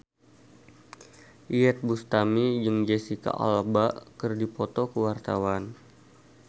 Iyeth Bustami jeung Jesicca Alba keur dipoto ku wartawan